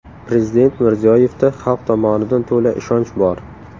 Prezident Mirziyoyevda xalq tomonidan to‘la ishonch bor.